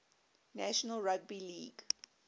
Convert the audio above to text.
national rugby league